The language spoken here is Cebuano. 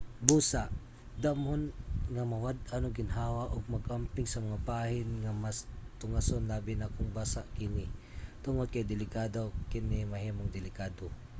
busa damhon nga mawad-an og ginhawa ug mag-amping sa mga bahin nga mas tungason labi na kung basa kini tungod kay dali kini mahimong delikado